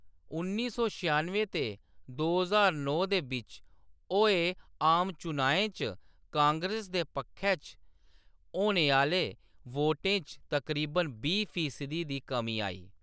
उन्नी सौ छेआनुएं ते दो ज्हार नौ दे बिच्च होए आम चुनाएं च कांग्रेस दे पक्खै च होने आह्‌‌‌ले वोटें च तकरीबन बीह् फीसदी दी कमी आई।